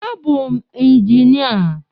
A bụ m njinịa